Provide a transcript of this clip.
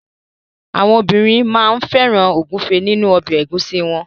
Àwọn obìnrin máa ń fẹ́ràn ògúnfe nínu ọbẹ̀ ẹ̀gúsí wọn.